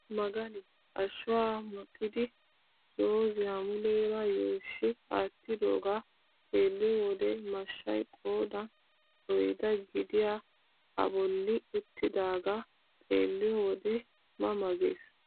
Magani ashshuwaa muxidi zooziyaa muleera yuushshi aattidoogaa xeelliyoo wode mashshay qoodan oyddaa gidiyaa a bolli uttidagaa xeelliyoo wode ma ma ges.